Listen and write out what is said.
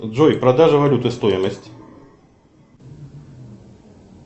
джой продажа валюты стоимость